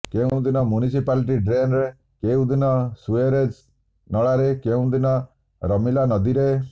କେଉଁଦିନ ମ୍ୟୁନିସିପାଲିଟି ଡ୍ରେନ୍ରେ କେଉଁଦିନ ସୁ୍ୟରେଜ୍ ନଳାରେ କେଉଁଦିନ ରମିଲା ନଦୀରେ